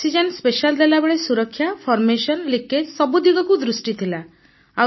oxygen special ଦେଲାବେଳେ ସୁରକ୍ଷା formation leakage ସବୁ ଦିଗକୁ ଦୃଷ୍ଟି ଥିଲା